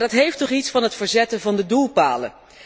Maar dat heeft toch iets van het verzetten van de doelpalen.